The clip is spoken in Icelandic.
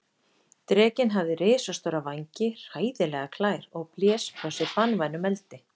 Drekinn hafði risastóra vængi, hræðilegar klær og blés frá sér banvænum eldi.